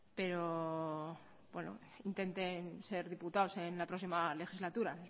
pero bueno intenten ser diputados en la próxima legislatura